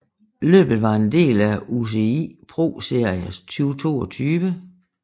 Løbet var en del af UCI ProSeries 2022